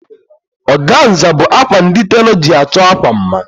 Ọganza bụ akwa ndi telọ ji achọ akwa mma